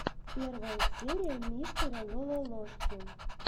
первая серия мистера лололошки